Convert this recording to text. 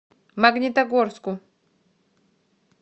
магнитогорску